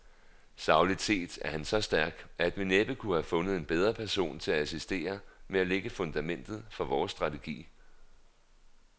Sagligt set er han så stærk, at vi næppe kunne have fundet en bedre person til at assistere med at lægge fundamentet for vores strategi.